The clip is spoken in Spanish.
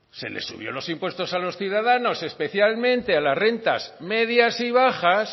se les subió los impuestos a los ciudadanos especialmente a las rentas medias y bajas